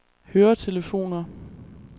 høretelefoner